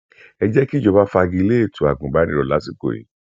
ẹ jẹ kí ìjọba fàgilẹ ètò agùnbánirò lásìkò yí